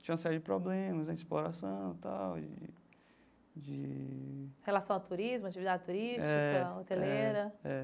Tinha uma série de problemas né exploração e tal, e de... Relação ao turismo, atividade turística, hoteleira. É.